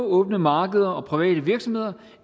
åbne markeder og private virksomheder